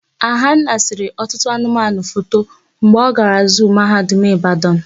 Ahanna sere ọtụtụ ụmụanụmanụ foto mgbe ọ gara zuu Mahadum Ịbadan.